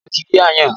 Ibo lo ti rí aáyán?